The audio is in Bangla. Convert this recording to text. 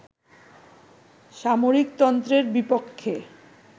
সামরিকতন্ত্রের বিপক্ষে